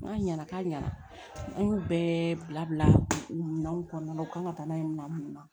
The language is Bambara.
N'a ɲɛna k'a ɲɛna an y'o bɛɛ bila bila minanw kɔnɔna la u kan ka taa n'a ye minan mun na